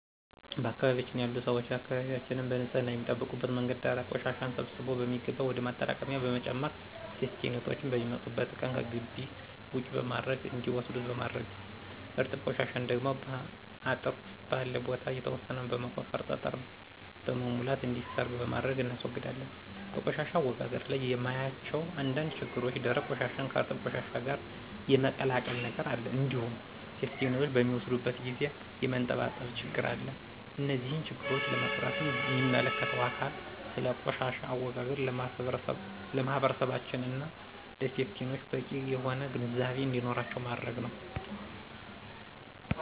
በአካባቢያችን ያሉ ሰዎች አካባቢያችንን በንፅህና የሚጠብቁበት መንገድ ደረቅ ቆሻሻን ሰብስቦ በሚገባ ወደ ማጠራቀሚያ በመጨመር ሴፍቲኔቶች በሚመጡበት ቀን ከግቢ ውጪ በማድረግ እንዲወስዱት በማድረግ ነዉ። እርጥብ ቆሻሻን ደግሞ ከአጥር ስር ባለ ቦታ የተወሰነ በመቆፈርና ጠጠር በመሙላት እንዲሰርግ በማድረግ እናስወግዳለን። በቆሻሻ አወጋገድ ላይ የማያቸው አንዳንድ ችግሮች ደረቅ ቆሻሻን ከእርጥብ ቆሻሻ ጋር የመቀላቀል ነገር አለ እንዲሁም ሴፍቲኔቶች በሚወስዱበት ጊዜ የመንጠባጠብ ችግር አለ። እነዚህን ችግሮች ለመቅረፍም ሚመለከተው አካል ስለ ቆሻሻ አወጋገድ ለማህበረሰባችን እና ለሴፍቲኔቶች በቂ የሆነ ግንዛቤ እንዲኖራቸው ማድረግ ነዉ።